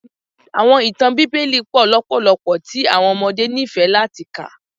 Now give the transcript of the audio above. Awọn itan Bibeli pọ lọpọlọpọ ti awọn ọmọde nifẹ lati ka.